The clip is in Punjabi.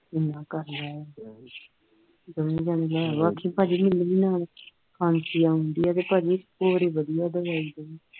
ਦੋਵੇਂ ਜਾਣੇ ਲੈ ਆਓ ਆਖੀਂ ਮੈਨੂੰ ਵੀ ਨਾਲ ਖਾਂਸੀ ਆਉਣ ਡਈ ਐ ਤੇ ਭਾਜੀ ਹੋਰ ਵਧੀਆ ਦਵਾਈ ਦੇਵੀ